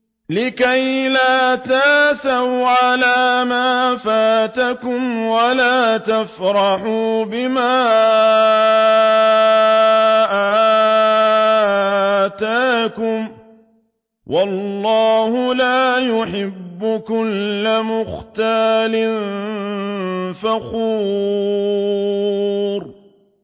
لِّكَيْلَا تَأْسَوْا عَلَىٰ مَا فَاتَكُمْ وَلَا تَفْرَحُوا بِمَا آتَاكُمْ ۗ وَاللَّهُ لَا يُحِبُّ كُلَّ مُخْتَالٍ فَخُورٍ